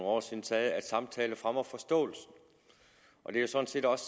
år siden sagde at samtale fremmer forståelsen det er sådan set også